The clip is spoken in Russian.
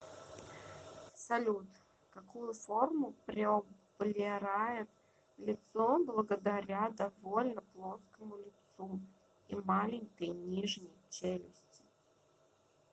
салют какую форму приоблерает лицо благодаря довольно плоскому лицу и маленькой нижней челюсти